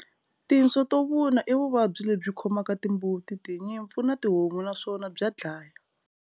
Tinso to vuna i vuvabyi lebyi khomaka timbuti, tinyimpfu na tihomu naswona bya dlaya.